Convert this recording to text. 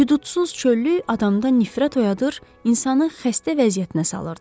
Hüqudsuz çöllük adamda nifrət oyadır, insanı xəstə vəziyyətinə salırdı.